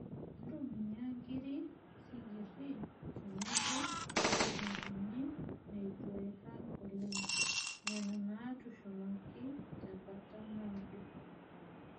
Ntumia nkiri, sinkirr tenebo lukunkuni neitu eirag alang' nena naatushumaki tenkata naado.